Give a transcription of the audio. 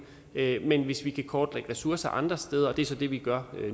men hvis vi kan kortlægge ressourcer andre steder og det er så det vi gør